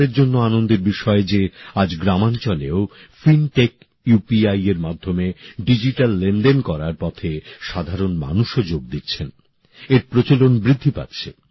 এটা আমাদের জন্য আনন্দের বিষয় যে আজ গ্রামাঞ্চলেও ফিনটেক ইউপিআইএর মাধ্যমে ডিজিটাল লেনদেন করার পথে সাধারণ মানুষও যোগ দিচ্ছেন এর প্রচলন বৃদ্ধি পাচ্ছে